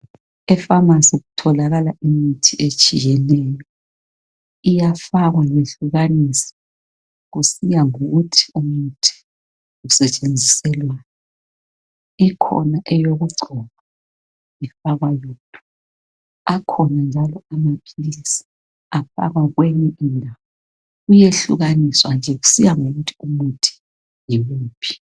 Epharmacy kutholakala imithi etshiyeneyo. Iyafakwa yehlukaniswe kusiya ngokuthi umuthi usetshenziselwani. Ikhona eyokugcoba ifakwa yodwa, akhona njalo amaphilisi afakwa kwenye indawo. Kuyehlukaniswa nje kusiya ngokuthi umuthi yiwuphi.